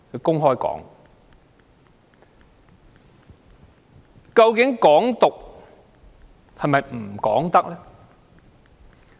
究竟"港獨"是否不容討論？